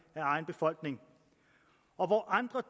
af egen befolkning og hvor andre